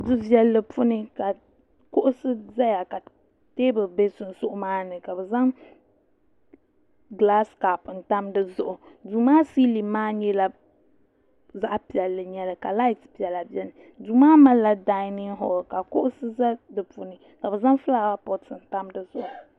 du viɛlli puuni ka kuɣusi ʒɛya ka teebuli ʒɛ sunsuu maa ni ka bi zaŋ gilaas kaap ntam dizuɣu duu maa siilin maa nyɛla zaɣ piɛlli ka lait piɛla biɛni duu maa malila dainin hool ka kuɣusi ʒɛ di puuni ka bi zaŋ fulaawa poot ntam dizuɣu